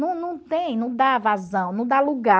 Não não tem, não dá não dá lugar.